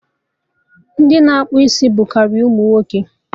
Ndị na-akpụ isi bụ karị ụmụ nwoke